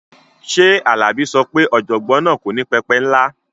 Ṣé Alabi sọ pé ọ̀jọ̀gbọ́n náà kò ní pẹpẹ ńlá?